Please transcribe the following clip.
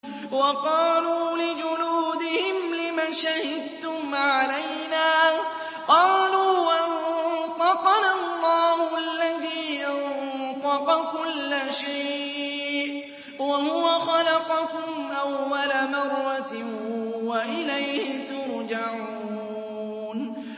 وَقَالُوا لِجُلُودِهِمْ لِمَ شَهِدتُّمْ عَلَيْنَا ۖ قَالُوا أَنطَقَنَا اللَّهُ الَّذِي أَنطَقَ كُلَّ شَيْءٍ وَهُوَ خَلَقَكُمْ أَوَّلَ مَرَّةٍ وَإِلَيْهِ تُرْجَعُونَ